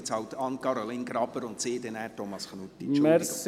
Sie sind halt jetzt Anne-Caroline Graber, und Sie nachher Thomas Knutti.